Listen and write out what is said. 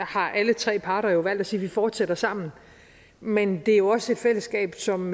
har alle tre parter jo valgt at sige at vi fortsætter sammen men det er jo også et fællesskab som